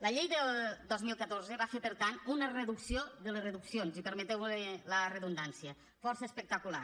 la llei del dos mil catorze va fer per tant una reducció de les reduccions i permeteume la redundància força espectacular